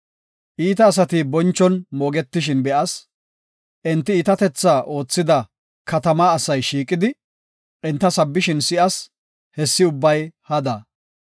Iita asati bonchon moogetishin be7as. Enti iitatetha oothida katamaa asay shiiqidi enta sabbishin si7as; hessi ubbay hada.